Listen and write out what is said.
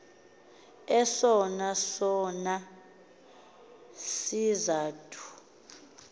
esona sona sizathu